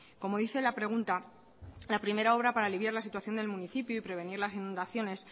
como dice la pregunta la primera obra para aliviar la situación del municipio y prevenir las inundaciones